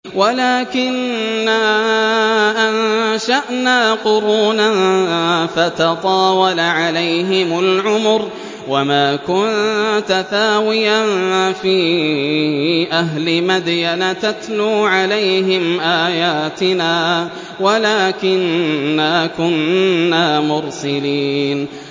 وَلَٰكِنَّا أَنشَأْنَا قُرُونًا فَتَطَاوَلَ عَلَيْهِمُ الْعُمُرُ ۚ وَمَا كُنتَ ثَاوِيًا فِي أَهْلِ مَدْيَنَ تَتْلُو عَلَيْهِمْ آيَاتِنَا وَلَٰكِنَّا كُنَّا مُرْسِلِينَ